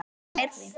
Eins og fleiri.